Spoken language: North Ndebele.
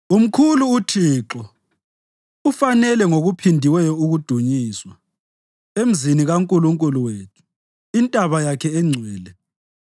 Umkhulu uThixo, ufanele ngokuphindiweyo ukudunyiswa, emzini kaNkulunkulu wethu, intaba yakhe engcwele.